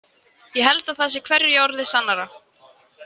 Ég held að það sé hverju orði sannara.